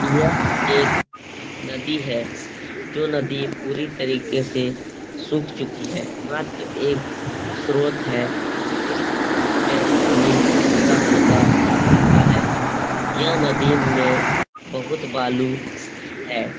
यह एक नदी है जो नदी पूरी तरीके से सूख चुकी है मात्र एक स्रोत है जिस में पानी हल्का-हल्का बहता है यह नदी में बहुत बालू है ।